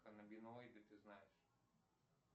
каннабиноиды ты знаешь